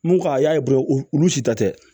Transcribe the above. N ko ka a y'a ye dɔrɔn olu si ta tɛ